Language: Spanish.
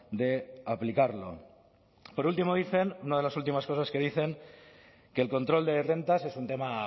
de aplicarlo por último dicen una de las últimas cosas que dicen que el control de rentas es un tema